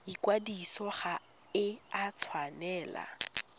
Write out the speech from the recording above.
ikwadiso ga e a tshwanela